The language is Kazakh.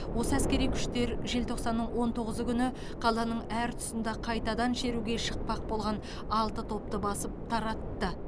осы әскери күштер желтоқсанның он тоғызы күні қаланың әр тұсында кайтадан шеруге шықпақ болған алты топты басып таратты